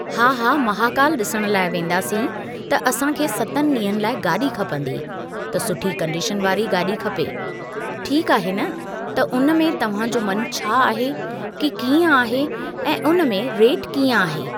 हा हा महाकाल ॾिसणु लाइ वेंदासीं त असां खे सतनि ॾींहंनि लाइ गाॾी खपंदी त सुठी कंडीशन वारी गाॾी खपे, ठीक आहे न त उन में तव्हां जो मन छा आहे कि कीअं आहे ऐं उन मेंं रेट कीअं आहे।